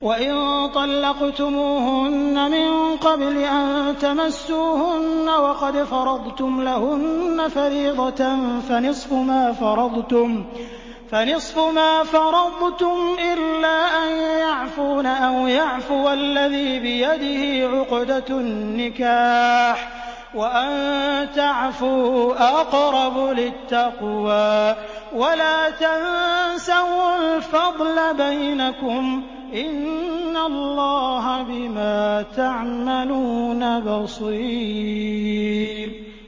وَإِن طَلَّقْتُمُوهُنَّ مِن قَبْلِ أَن تَمَسُّوهُنَّ وَقَدْ فَرَضْتُمْ لَهُنَّ فَرِيضَةً فَنِصْفُ مَا فَرَضْتُمْ إِلَّا أَن يَعْفُونَ أَوْ يَعْفُوَ الَّذِي بِيَدِهِ عُقْدَةُ النِّكَاحِ ۚ وَأَن تَعْفُوا أَقْرَبُ لِلتَّقْوَىٰ ۚ وَلَا تَنسَوُا الْفَضْلَ بَيْنَكُمْ ۚ إِنَّ اللَّهَ بِمَا تَعْمَلُونَ بَصِيرٌ